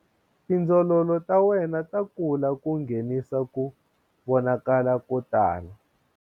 Tindzololo ta wena ta kula ku nghenisa ku vonakala ko tala.